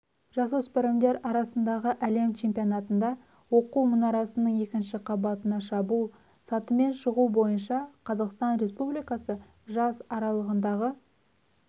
жасөспірімдер арасындағы әлем чемпионатында оқу мұнарасының екінші қабатына шабуыл сатымен шығу бойынша қазақстан республикасы жас аралығындағы